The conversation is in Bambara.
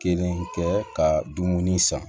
Kelen kɛ ka dumuni san